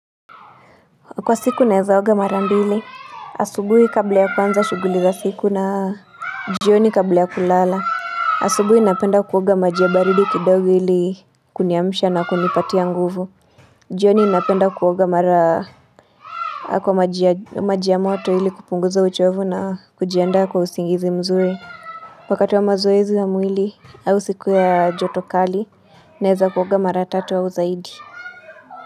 Kwa siku naeza oga mara mbili, asubuhi kabla ya kwanza shuguli za siku na jioni kabla ya kulala. Asubuhi ninapenda kuoga maji ya baridi kidogu ili kuniamsha na kunipatia nguvu. Jioni inapenda kuoga mara kwa maji ya moto ili kupunguza uchovu na kujianda kwa usingizi mzuri. Wakati wa mazoezi wa mwili, au siku ya joto kali, naeza kuoga mara tatu au zaidi.